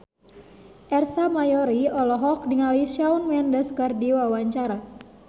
Ersa Mayori olohok ningali Shawn Mendes keur diwawancara